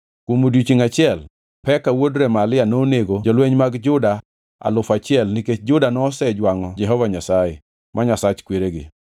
Kuom odiechiengʼ achiel Peka wuod Remalia nonego jolweny mag Juda alufu achiel nikech Juda nosejwangʼo Jehova Nyasaye, ma Nyasach kweregi.